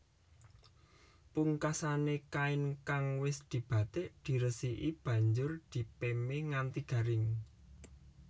Pungkasané kain kang wis dibatik diresiki banjur dipémé nganti garing